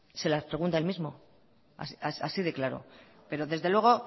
se las pregunta a él mismo así de claro pero desde luego